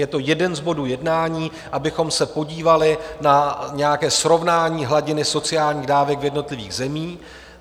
Je to jeden z bodů jednání, abychom se podívali na nějaké srovnání hladiny sociálních dávek v jednotlivých zemích.